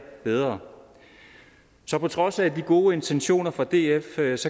bedre så på trods af de gode intentioner fra dfs